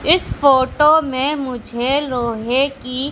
इस फोटो में मुझे लोहे की --